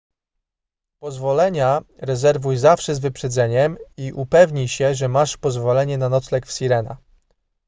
pozwolenia rezerwuj zawsze z wyprzedzeniem i upewnij się że masz pozwolenie na nocleg w sirena